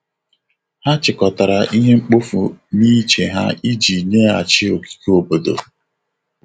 Ha chịkọtara ihe mkpofu n'ije ha iji nyeghachi ogige obodo.